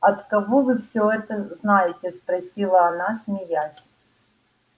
от кого вы все это знаете спросила она смеясь